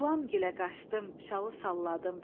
Qulamgilə qaçdım, şalı salladım.